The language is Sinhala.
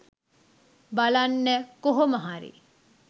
බලන්න කොහොමහරි